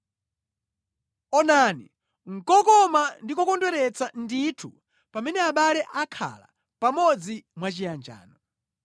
Onani, nʼkokoma ndi kokondweretsa ndithu pamene abale akhala pamodzi mwachiyanjano!